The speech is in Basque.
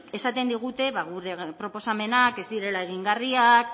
esaten digute ba gure proposamenak ez direla egingarriak